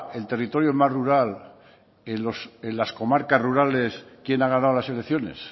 el territorio más rural en las comarcas rurales quién ha ganado las elecciones